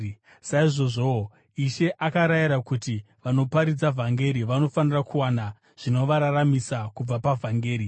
Saizvozvowo, Ishe akarayira kuti vanoparidza vhangeri vanofanira kuwana zvinovararamisa kubva pavhangeri.